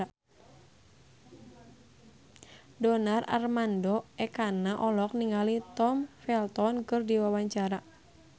Donar Armando Ekana olohok ningali Tom Felton keur diwawancara